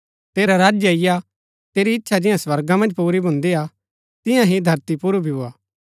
तेरा राज्य अईआ तेरी इच्छा जियां स्वर्गा मन्ज पुरी भून्दिआ तियां ही धरती पुर भी भोआ